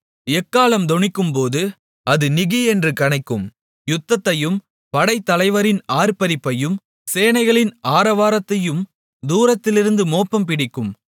எக்காளம் தொனிக்கும்போது அது நிகியென்று கனைக்கும் யுத்தத்தையும் படைத்தலைவரின் ஆர்ப்பரிப்பையும் சேனைகளின் ஆரவாரத்தையும் தூரத்திலிருந்து மோப்பம்பிடிக்கும்